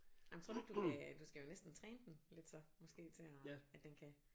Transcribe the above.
Jamen tror du ikke du kan du skal jo næsten træne den lidt så måske til at at den kan